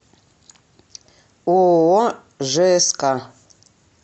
ооо жск